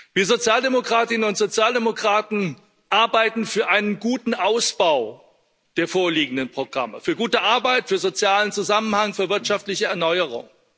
Wir Sozialdemokratinnen und Sozialdemokraten arbeiten für einen guten Ausbau der vorliegenden Programme für gute Arbeit, für sozialen Zusammenhang, für wirtschaftliche Erneuerung.